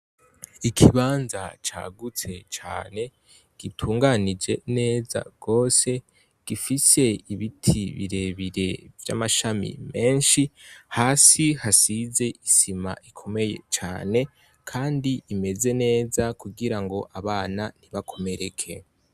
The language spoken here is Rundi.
Ikibanza cagutse cane, gitunganije neza gose gifise ibiti birebire vy'amashami menshi, hasi hasize isima ikomeye cane kandi imeze neza, kugira ngo abana ntibakomereke.